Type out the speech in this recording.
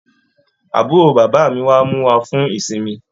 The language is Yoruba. Àbúrò bàbá mí wá mú wà fún ìsinmi.